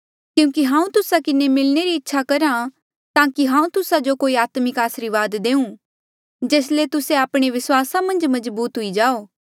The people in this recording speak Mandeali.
क्यूंकि हांऊँ तुस्सा किन्हें मिलणे री इच्छा करहा ताकि हांऊँ तुस्सा जो कोई आत्मिक आसरीवाद देऊँ जेस ले तुस्से आपणे विस्वासा मन्झ मजबूत हुई जाओ